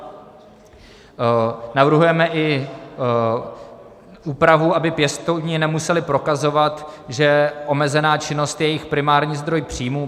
Navrhujeme i úpravu, aby pěstouni nemuseli prokazovat, že omezená činnost je jejich primární zdrojů příjmů.